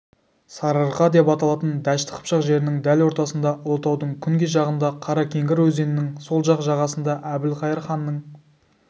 сарыарқа деп аталатын дәшті қыпшақ жерінің дәл ортасында ұлытаудың күнгей жағында қаракеңгір өзенінің сол жақ жағасында әбілқайыр ханның